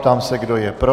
Ptám se, kdo je pro.